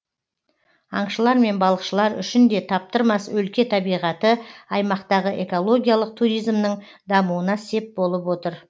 аңшылар мен балықшылар үшін де таптырмас өлке табиғаты аймақтағы экологиялық туризмнің дамуына сеп болып отыр